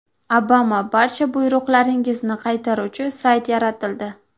Obama barcha buyruqlaringizni qaytaruvchi sayt yaratildi.